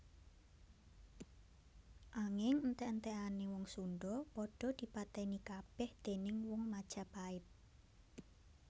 Anging entèk entèkané wong Sundha padha dipatèni kabèh déning wong Majapait